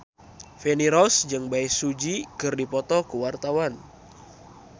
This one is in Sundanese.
Feni Rose jeung Bae Su Ji keur dipoto ku wartawan